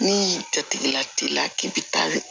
Ni jatigila kila k'i bi taa